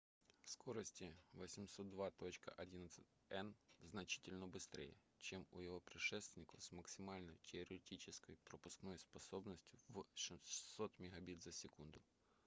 скорости 802.11n значительно быстрее чем у его предшественников с максимальной теоретической пропускной способностью в 600 мбит/с